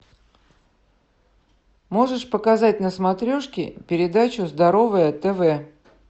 можешь показать на смотрешке передачу здоровое тв